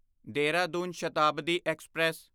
Dehradun Shatabdi express